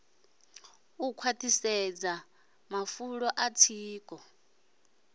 u khwaṱhisedza mafulo a tsiko